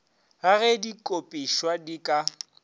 ga ge dikopišwa di ka